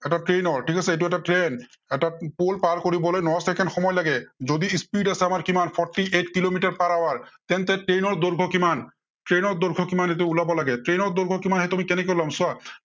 এটা train ৰ ঠিক আছে, এইটো এটা train এটা pool পাৰ কৰিবলৈ ন চেকেণ্ড সময় লাগে। যদি speed আছে আমাৰ কিমান, fourty eight kilometre per hour তেন্তে train ৰ দৈৰ্ঘ্য় কিমান? train ৰ দৈৰ্ঘ্য় কিমান সেইটো উলিয়াব লাগে। train ৰ দৈৰ্ঘ্য় আমি সেইটো কেনেকে ওলাম চোৱা।